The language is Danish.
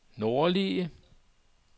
nordlige